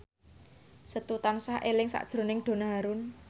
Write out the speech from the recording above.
Setu tansah eling sakjroning Donna Harun